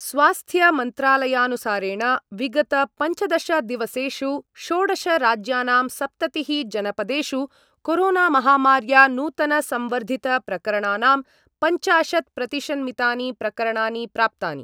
स्वास्थ्यमन्त्रालयानुसारेण विगतपञ्चदशदिवसेषु षोडश राज्यानां सप्ततिः जनपदेषु कोरोना माहमार्या नूतनसंवर्द्धितप्रकरणानां पञ्चाशत् प्रतिशन्मितानि प्रकरणानि प्राप्तानि।